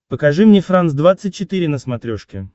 покажи мне франс двадцать четыре на смотрешке